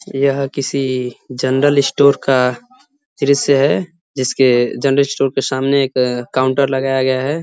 यह किसी general store का दृश्य है जिसके जनरल स्टोर के सामने एक काउंटर लगाया गया है।